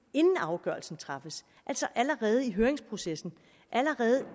inden afgørelsen træffes altså allerede i høringsprocessen og allerede